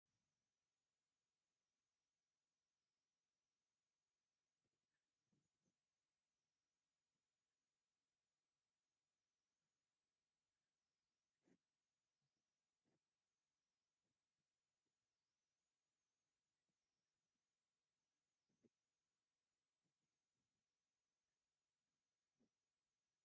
እቲ ካብ ዕንጨይቲ ዝተሰርሐ መቐመጢ ጫማ ክንደይ ጽቡቕን ጽፉፍን እዩ! ካብ ታሕቲ ክሳብ ላዕሊ፡ ብጽፉፍ ተሰሪዖም፡ ብዙሕ ናይ ስፖርት ጫማታት ኣሎ። እዚ ኩሉ ነቲ ገዛ ዝተወደበ ከም ዝመስል ይገብሮ። እዚ ዅሉ ጫማ ንሓደ ሰብ ጥራይ ድዩ